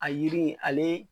A yiri in ale